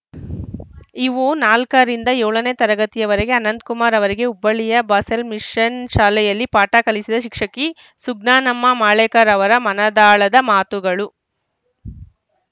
ಇವು ನಾಲ್ಕರಿಂದ ಏಳನೇ ತರಗತಿಯವರೆಗೆ ಅನಂತಕುಮಾರ್‌ ಅವರಿಗೆ ಹುಬ್ಬಳ್ಳಿಯ ಬಾಸೆಲ್‌ ಮಿಶನ್‌ ಶಾಲೆಯಲ್ಲಿ ಪಾಠ ಕಲಿಸಿದ ಶಿಕ್ಷಕಿ ಸುಜ್ಞಾನಮ್ಮ ಮಳೇಕರ್‌ ಅವರ ಮನದಾಳದ ಮಾತುಗಳು